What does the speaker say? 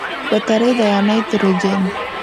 Bataraitha ya naitrojeni